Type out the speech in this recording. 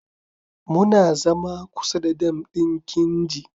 Muna zama kusa da dam din kinji.